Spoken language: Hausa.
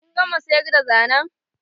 Kin gama sayar da zanen?